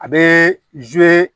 A bɛ